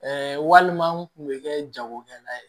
walima n kun bɛ kɛ jagokɛla ye